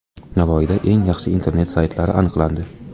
Navoiyda eng yaxshi internet saytlari aniqlandi.